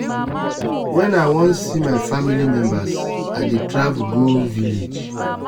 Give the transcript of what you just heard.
wen i wan see my family members i dey travel go village.